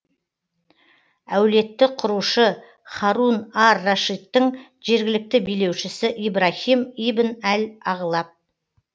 әулетті құрушы һарун ар рашидтің жергілікті билеушісі ибраһим ибн әл ағлаб